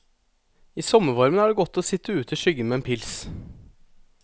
I sommervarmen er det godt å sitt ute i skyggen med en pils.